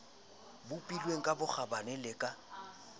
bopilweng ka bokgabane le ka